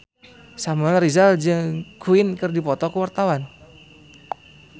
Samuel Rizal jeung Queen keur dipoto ku wartawan